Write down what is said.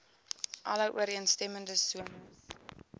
alle ooreenstemmende sones